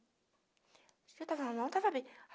Se eu tava mal, tava bem.